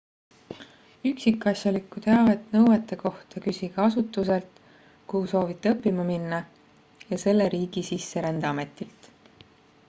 üksikasjalikku teavet nõuete kohta küsige asutuselt kuhu soovite õppima minna ja selle riigi sisserändeametilt